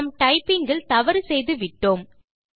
நாம் டைப்பிங் இல் தவறு செய்துவிட்டோம்